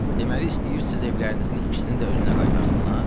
Deməli istəyirsiz evlərinizin ikisini də özünə qaytarsınlar?